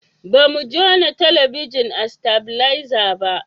ba mu jona talabijin a stabileza ba